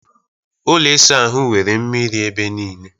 Ụlọ ịsa ahụ nwere mmiri ebe niile